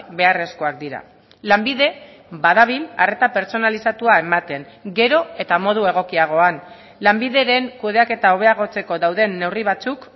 beharrezkoak dira lanbide badabil arreta pertsonalizatua ematen gero eta modu egokiagoan lanbideren kudeaketa hobeagotzeko dauden neurri batzuk